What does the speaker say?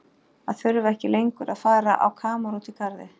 Að þurfa ekki lengur að fara á kamar úti í garði.